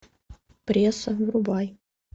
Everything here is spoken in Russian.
пресса врубай